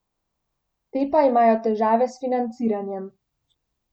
Te pa imajo težave s financiranjem.